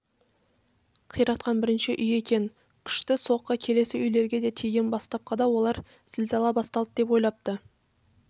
қиратқан бірінші үй екен күшті соққы келесі үйлерге тиген бастапқыда олар зілзала басталды деп ойлапты